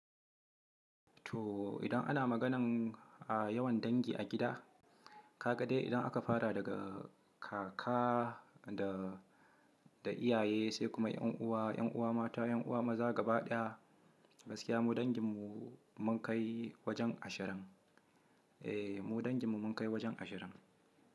To idan ana maganan a yawan dangi a gida, ka ga dai idan aka fara daga kaka da, da iyaye sai kuma ƴan uwa, ƴan uwa mata, ƴan uwa maza gaba ɗaya, gaskiya mu dangin mu mun kai wajen ashirin. Eh mu dangin mu mun kai wajen ashirin.